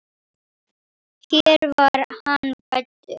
Hér var hann fæddur.